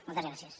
moltes gràcies